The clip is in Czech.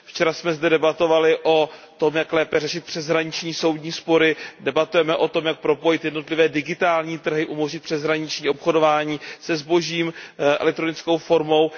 Včera jsme zde debatovali o tom, jak lépe řešit přeshraniční soudní spory, debatujeme o tom, jak propojit jednotlivé digitální trhy, umožnit přeshraniční obchodování se zbožím elektronickou formou.